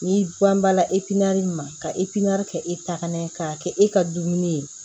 N'i ban banna ma ka e piɲɛri kɛ e takana ye k'a kɛ e ka dumuni ye